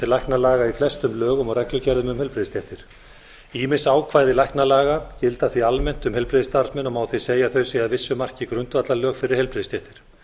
læknalaga í flestum lögum og reglugerðum um heilbrigðisstéttir ýmis ákvæði læknalaga gilda því almennt um heilbrigðisstarfsmenn og má því segja að þau séu að vissu marki grundvallarlög um heilbrigðisstéttir